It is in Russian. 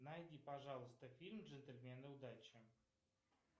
найди пожалуйста фильм джентльмены удачи